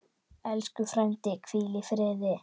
Elsku frændi, hvíl í friði.